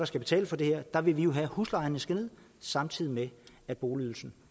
skal betale for det her der vil vi jo have at huslejerne skal ned samtidig med at boligydelsen